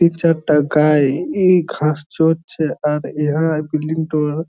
Picture টা গায়ে এই ঘাস চড়ছে এর ইহা বিল্ডিং টার ।